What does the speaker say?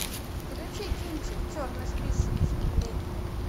включи кинчик черный список искупление